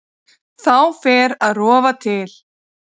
Þá fer að rofa til.